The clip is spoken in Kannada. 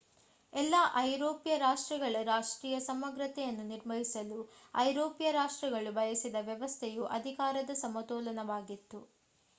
ಎಲ್ಲ ಐರೋಪ್ಯ ರಾಷ್ಟ್ರಗಳ ರಾಷ್ಟ್ರೀಯ ಸಮಗ್ರತೆಯನ್ನು ನಿರ್ವಹಿಸಲು ಐರೋಪ್ಯ ರಾಷ್ಟ್ರಗಳು ಬಯಸಿದ ವ್ಯವಸ್ಥೆಯು ಅಧಿಕಾರದ ಸಮತೋಲನವಾಗಿತ್ತು